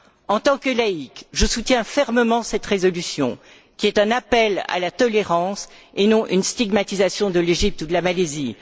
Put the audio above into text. En tant que laïque, je soutiens fermement cette résolution, qui est un appel à la tolérance et non une stigmatisation de l'Égypte ou de la Malaisie.